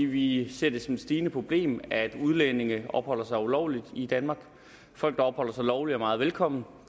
vi ser det som et stigende problem at udlændinge opholder sig ulovligt i danmark folk der opholder sig lovligt er meget velkomne